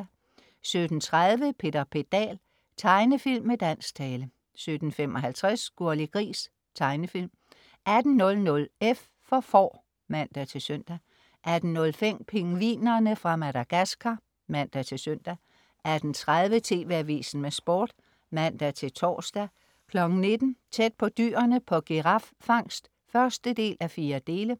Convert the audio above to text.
17.30 Peter Pedal. Tegnefilm med dansk tale 17.55 Gurli Gris. Tegnefilm 18.00 F for Får (man-søn) 18.05 Pingvinerne fra Madagascar (man-søn) 18.30 TV Avisen med Sport (man-tors) 19.00 Tæt på dyrene på giraffangst 1:4